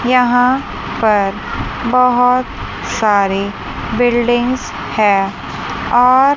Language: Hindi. यहां पर बहोत सारे बिल्डिंग्स है और--